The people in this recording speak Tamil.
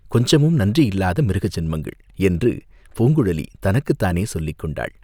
கொஞ்சமும் நன்றியில்லாத மிருக ஜன்மங்கள்!" என்று பூங்குழலி தனக்குத்தானே சொல்லிக் கொண்டாள்.